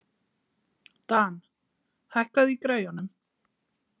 Dan, hækkaðu í græjunum.